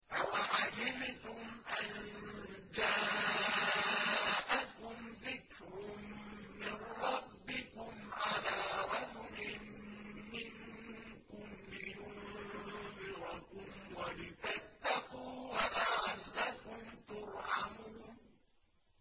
أَوَعَجِبْتُمْ أَن جَاءَكُمْ ذِكْرٌ مِّن رَّبِّكُمْ عَلَىٰ رَجُلٍ مِّنكُمْ لِيُنذِرَكُمْ وَلِتَتَّقُوا وَلَعَلَّكُمْ تُرْحَمُونَ